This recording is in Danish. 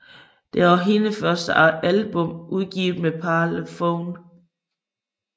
Det er også hendes første album udgivet med Parlophone